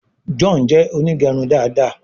John jé Onigerun dá dá.